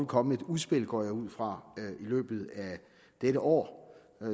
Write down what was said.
komme et udspil går jeg ud fra i løbet af dette år